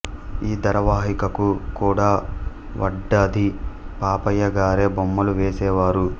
ఈ ధారావాహికకు కూడా వడ్డాది పాపయ్య గారే బొమ్మలు వేసేవారు